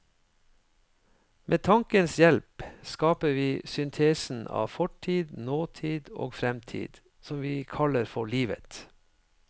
Med tankens hjelp skaper vi syntesen av fortid, nåtid og fremtid som vi kaller for livet.